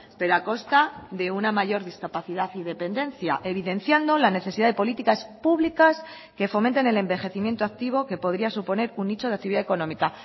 pero a costa de una mayor discapacidad y dependencia evidenciando la necesidad de políticas públicas que fomenten el envejecimiento activo que podría suponer un nicho de actividad económica